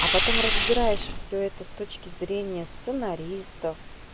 а потом разбираешь всё это с точки зрения сценаристов